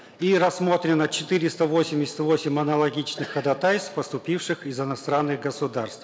и рассмотрено четыреста восемьдесят восемь аналогичных ходатайств поступивших из иностранных государств